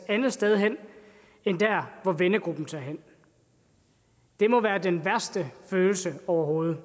andet sted hen end dér hvor vennegruppen tager hen det må være den værste følelse overhovedet